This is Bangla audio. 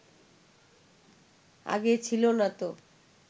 আগে ছিল না তো